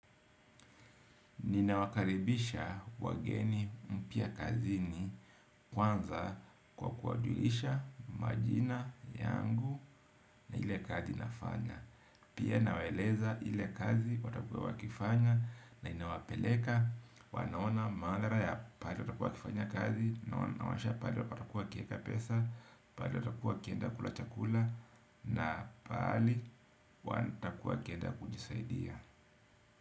Nina wakaribisha wageni mpia kazini kwanza kwa kuajulisha majina yangu na hile kazi nafanya. Pia nawaeleza ile kazi watakua wakifanya na inawapeleka, wanaona mandara ya pali watakua kifanya kazi, na wansha pali watakua wakieka pesa, pali watakua wakienda kula chakula, na pali watakua wakienda kujisaidia.